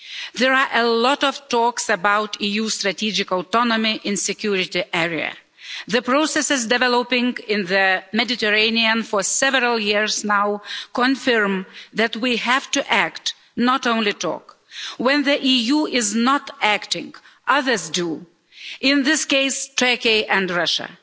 There are a lot of talks about EU strategic autonomy in the security area. The processes that have been developing in the Mediterranean for several years now confirm that we have to act, not only talk. When the EU is not acting, others do in this case, Turkey and Russia.